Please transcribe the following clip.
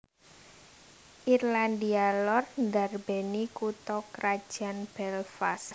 Irlandia Lor ndarbèni kutha krajan Belfast